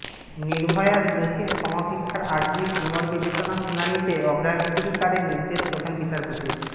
নির্ভয়ার দোষীর ক্ষমা ভিক্ষার আর্জির পুনর্বিবেচনার শুনানিতে আগ্রাধিকারের নির্দেশ প্রধান বিচারপতির